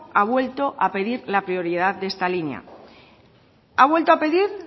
ha vuelto a pedir la prioridad de esta línea ha vuelto a pedir